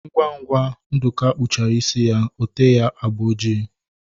Ngwa ngwa Nduka kpusiri isi ya, ote ya agba ojii